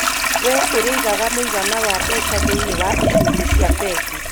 Wee ũrĩigaga mũigana wa mbeca thĩinĩ wa icunjĩ cia mbengi .